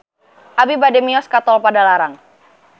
Abi bade mios ka Tol Padalarang